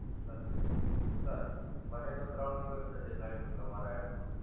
Sir. Sir, મને તો ત્રણ દિવસ છે, દેખાડ્યું તું તમારા એપ માં.